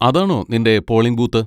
അതാണോ നിൻ്റെ polling booth?